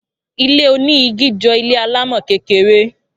Ilé oní igi jọ ilé alámò kékeré